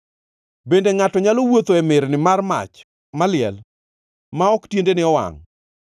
Bende ngʼato nyalo wuotho e mirni mar mach maliel, ma ok tiendene owangʼ?